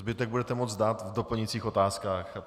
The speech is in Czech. Zbytek budete moct dát v doplňujících otázkách.